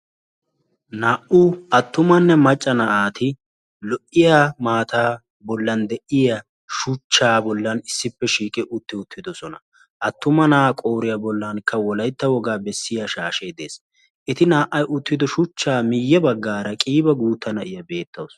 Naa''u attumanne macca naati lo''iya maataa bollan de'iya shuchchaa bollan issipe shiiqidi uttidosona. Attuma naa'a qooriya bollanka wolaytta wogaa beesiya shashee de'ees. Eti naa''ay uttido shuuchcha miiyye baggaara qiiba gutta naa'iya beettawusu.